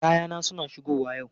Kayana suna shigowa yau.